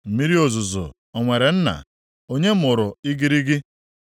Mmiri ozuzo o nwere nna? Onye mụrụ igirigi?